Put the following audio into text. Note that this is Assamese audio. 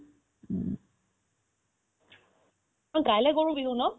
অ, কাইলে গৰু বিহু ন